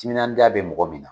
Timinandiya be mɔgɔ min na.